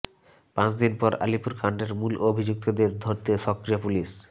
পাঁচদিন পর আলিপুর কাণ্ডের মূল অভিযুক্তদের ধরতে সক্রিয় পুলিস